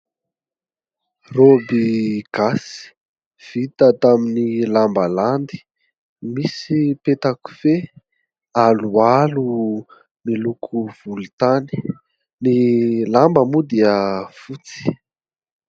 Raoby gasy vita tamin'ny lamba landy, misy peta-kofehy aloalo miloko volontany, ny lamba moa dia fotsy.